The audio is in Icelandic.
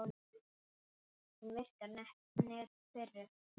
Hún virkar nett pirruð.